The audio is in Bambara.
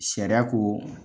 Sariya ko